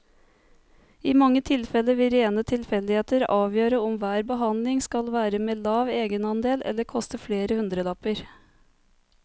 I mange tilfeller vil rene tilfeldigheter avgjøre om hver behandling skal være med lav egenandel eller koste flere hundrelapper.